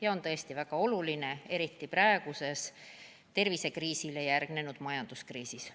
See on tõesti väga oluline, eriti praeguses tervisekriisile järgnenud majanduskriisis.